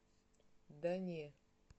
да не